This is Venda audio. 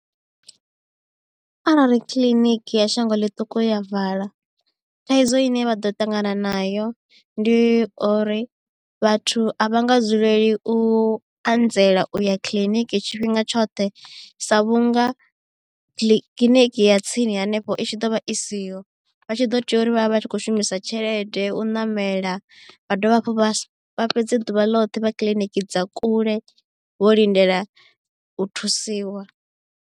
Arali kiḽiniki ya shango ḽiṱuku ya vala thaidzo ine vha ḓo ṱangana nayo ndi uri vhathu a vha nga dzuleli u anzela u ya kiḽiniki tshifhinga tshoṱhe sa vhunga kiḽiniki ya tsini hanefho i tshi ḓo vha i siho vha tshi ḓo tea uri vha vha vha tshi kho shumisa tshelede u ṋamela vha dovha hafhu vha fhedze ḓuvha ḽoṱhe vha kiḽiniki dza kule vho lindela u thusiwa.